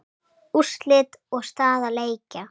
Úrslit og staða leikja